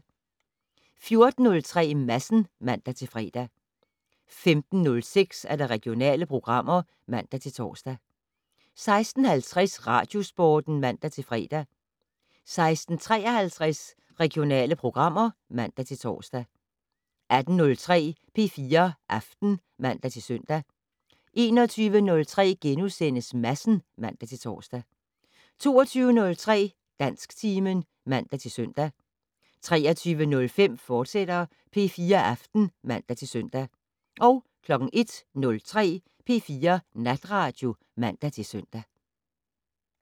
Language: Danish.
14:03: Madsen (man-fre) 15:06: Regionale programmer (man-tor) 16:50: Radiosporten (man-fre) 16:53: Regionale programmer (man-tor) 18:03: P4 Aften (man-søn) 21:03: Madsen *(man-tor) 22:03: Dansktimen (man-søn) 23:05: P4 Aften, fortsat (man-søn) 01:03: P4 Natradio (man-søn)